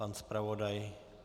Pan zpravodaj?